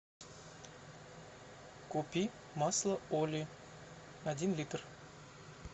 купи масло оли один литр